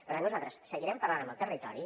per tant nosaltres seguirem parlant amb el territori